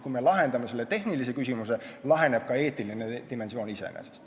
Kui me lahendame selle tehnilise küsimuse, laheneb ka eetiline dimensioon iseenesest.